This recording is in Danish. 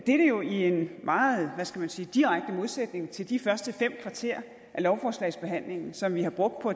er jo i en meget hvad skal man sige direkte modsætning til de første fem kvarter af lovforslagsbehandlingen som vi har brugt på